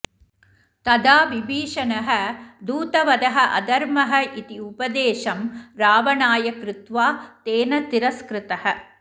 तदा विभीषणः दुतवधः अधर्मः इति उपदेशं रावणाय कृत्वा तेन तिरस्कृतः